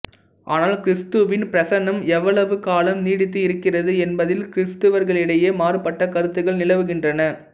ஆனால் கிறிஸ்துவின் பிரசன்னம் எவ்வளவு காலம் நீடித்து இருக்கிறது என்பதில் கிறிஸ்தவர்களிடையே மாறுபட்ட கருத்துகள் நிலவுகின்றன